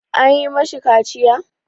An yi ma shi kaciya?